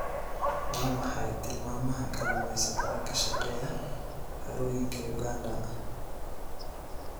Waa maxay tilmaamaha kalluumaysatada ka shaqeeya harooyinka Uganda?